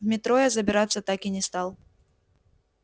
в метро я забираться так и не стал